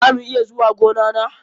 Za mu iya zuwa gona na?